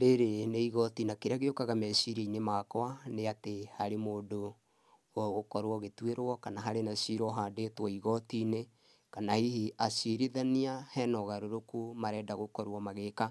Rĩrĩ nĩ igoti, na kĩrĩa gĩũkaga meciria-inĩ makwa nĩ atĩ harĩ mũndũ ũgũkorũo ũgĩtuĩrwo kana hena cira ũhandĩtwo igoti-inĩ kana hihi acirithania he na ũgarũrũkũ marenda gũkorũo magĩka.